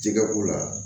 Jɛgɛ ko la